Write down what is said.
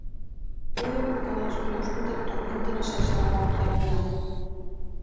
Eyjólfur Garðarsson ljósmyndari tók myndina sem sjá má hér að neðan.